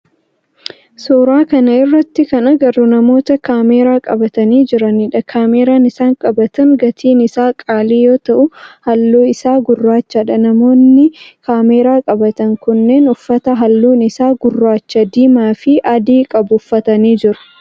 Suuraa kana irratti kan agarru namoota kaameeraa qabatani jiranidha. Kaameeraan isaan qabatan gatin isaa qaalii yoo ta'u halluu isaa gurraachadha. Namoonni kaameeraa qabatan kunneen uffata halluun isaa gurraacha , diimaa fi adii qabu uffatanii jiru.